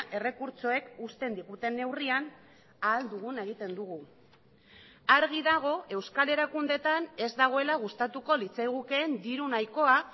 errekurtsoek uzten diguten neurrian ahal duguna egiten dugu argi dago euskal erakundeetan ez dagoela gustatuko litzaigukeen diru nahikoa